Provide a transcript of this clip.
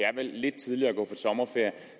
er vel lidt tidligt at gå på sommerferie